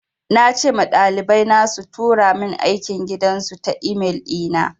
Na ce ma ɗalibai na su tura min aikin gidan su ta e-mail ɗi na.